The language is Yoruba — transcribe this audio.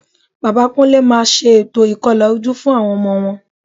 Bàbá Kúnlé máa ṣe ètò ìkọlà ojú fún àwọn ọmọ wọn